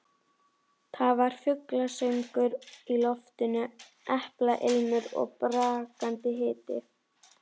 Það var fuglasöngur í loftinu, eplailmur og brakandi hiti.